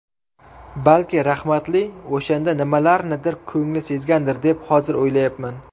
Balki rahmatli o‘shanda nimalarnidir ko‘ngli sezgandir deb hozir o‘ylayapman.